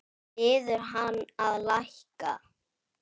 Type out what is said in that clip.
Biður hann að lækka.